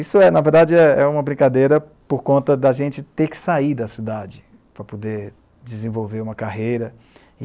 Isso é, na verdade, é uma brincadeira por conta da gente ter que sair da cidade para poder desenvolver uma carreira.